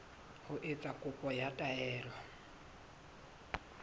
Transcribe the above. ho etsa kopo ya taelo